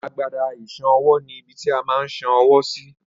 Agbada ìṣan ọwọ́ ni ibití a má ń san ọwọ́ sí